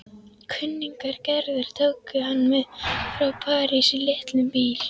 Kunningjar Gerðar tóku hann með frá París í litlum bíl.